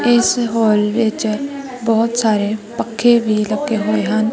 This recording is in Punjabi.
ਇਸ ਹੋਲ ਵਿੱਚ ਬਹੁਤ ਸਾਰੇ ਪੱਖੇ ਵੀ ਲੱਗੇ ਹੋਏ ਹਨ।